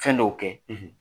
Fɛn dɔw kɛ